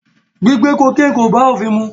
Gbigbe kokéènì ò bá ofin mu.